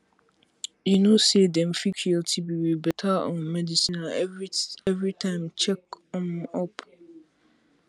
you know say them fit cure tb with better um medicine and everytime check um up